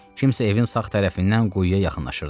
Kimsə evin sağ tərəfindən quyuya yaxınlaşırdı.